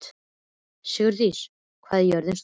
Sigurdís, hvað er jörðin stór?